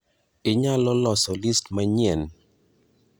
Inyalo loso list manyien?